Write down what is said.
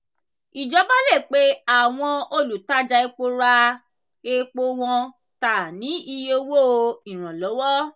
ìjọba le pe àwọn olùtajà epo ra epo wọn ta ní iye owó ìranlọ́wọ́.